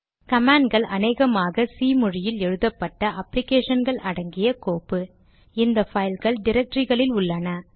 கமாண்ட்கள் அநேகமாக சி மொழியில் எழுதப்பட்ட அப்ளிகேஷன் கள் அடங்கிய கோப்பு இந்த பைல்கள் டிரக்டரிகளில் உள்ளன